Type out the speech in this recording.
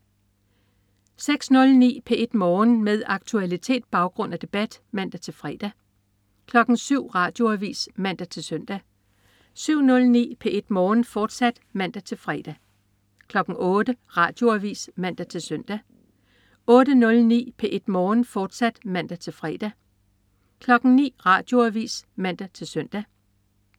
06.09 P1 Morgen. Med aktualitet, baggrund og debat (man-fre) 07.00 Radioavis (man-søn) 07.09 P1 Morgen, fortsat (man-fre) 08.00 Radioavis (man-søn) 08.09 P1 Morgen, fortsat (man-fre) 09.00 Radioavis (man-søn)